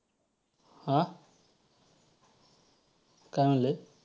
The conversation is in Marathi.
अं काय म्हणले?